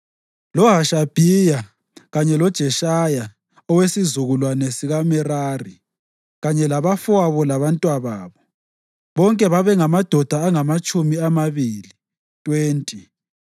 loHashabhiya, kanye loJeshaya owesizukulwane sikaMerari, kanye labafowabo labantwababo, bonke babengamadoda angamatshumi amabili (20).